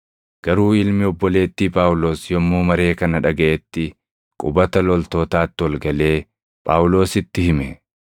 Garuu ilmi obboleettii Phaawulos yommuu maree kana dhagaʼetti qubata loltootaatti ol galee Phaawulositti hime.